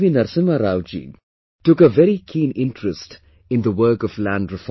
Narasimha Rao ji took a very keen interest in the work of Land Reform